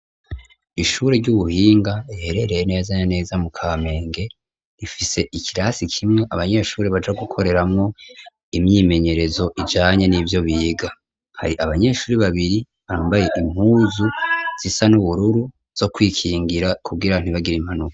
Ishuri ry'ubuhinga, riherereye neza na neza mu Kamenge, rifise ikirasi kimwe abanyeshuri baja gukoreramo imyimenyerezo ijanye n'ivyo biga, hari abanyeshuri babiri bambaye impuzu zisa n'ubururu zo kwikingira, kugira ntibagire impanuka.